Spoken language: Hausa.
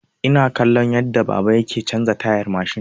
Ina kallon yadda baba yake canza tayar mashin.